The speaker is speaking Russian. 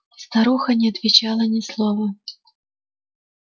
старуха не отвечала ни слова